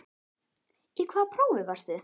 Í hvaða prófi varstu?